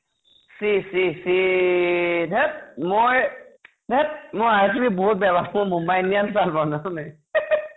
C চি চি ধেত্‍ মই ধেত্‍ মই RCB বহুত বেয়া পাওঁ । মই মুম্বাই ইণ্ডিয়ানছ ভাল পাওঁ । জান নাই ?